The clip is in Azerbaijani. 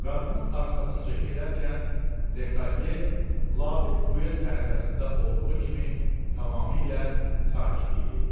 Qadının arxasınca gedərkən, Lekadye labid duel ərəfəsində olduğu kimi tamamilə sakit idi.